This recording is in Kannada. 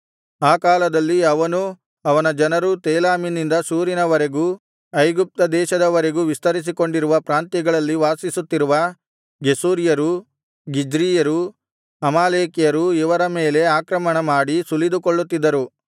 ಆ ಕಾಲದಲ್ಲಿ ಅವನೂ ಅವನ ಜನರೂ ತೇಲಾಮಿನಿಂದ ಶೂರಿನವರೆಗೂ ಐಗುಪ್ತ ದೇಶದವರೆಗೂ ವಿಸ್ತರಿಸಿಕೊಂಡಿರುವ ಪ್ರಾಂತ್ಯಗಳಲ್ಲಿ ವಾಸಿಸುತ್ತಿರುವ ಗೆಷೂರ್ಯರು ಗಿಜ್ರೀಯರು ಅಮಾಲೇಕ್ಯರು ಇವರ ಮೇಲೆ ಆಕ್ರಮಣ ಮಾಡಿ ಸುಲಿದುಕೊಳ್ಳುತ್ತಿದ್ದರು